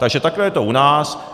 Takže takhle je to u nás.